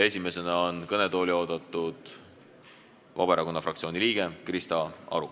Esimesena on kõnetooli oodatud Vabaerakonna fraktsiooni liige Krista Aru.